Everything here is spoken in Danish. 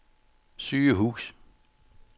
sygehus